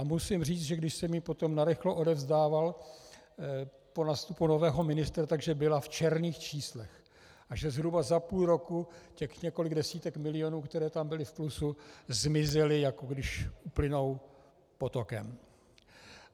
A musím říct, že když jsem ji potom narychlo odevzdával po nástupu nového ministra, tak byla v černých číslech, a že zhruba za půl roku těch několik desítek milionů, které tam byly v plusu, zmizelo, jako když uplynou potokem.